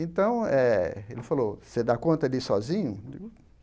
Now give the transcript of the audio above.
Então eh, ele falou, você dá conta de ir sozinho?